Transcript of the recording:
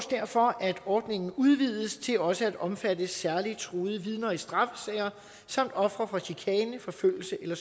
derfor at ordningen udvides til også at omfatte særlig truede vidner i straffesager samt ofre for chikane forfølgelse eller